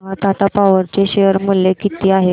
मला सांगा टाटा पॉवर चे शेअर मूल्य किती आहे